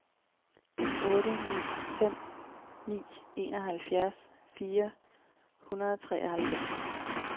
otte ni fem ni enoghalvfjerds fire hundrede og treoghalvfems